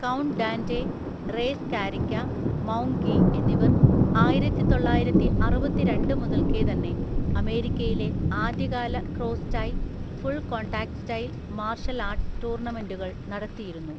Count Dante, Ray Scarica, Maung Gyi എന്നിവർ ആയിരത്തിതൊള്ളായിരത്തിഅറുപത്തിരണ്ടു മുതൽക്കേ തന്നെ അമേരിക്കയിലെ ആദ്യകാല cross style full contact style martial arts ടൂർണമെന്റുകൾ നടത്തിയിരുന്നു.